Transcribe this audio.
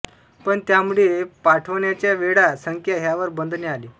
पण त्यामुळे पाठवण्याच्या वेळा संख्या ह्यावर बंधने आली